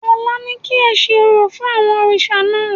Ọ̀la ni kí ẹ ṣe orò fún àwọn òrìṣà náà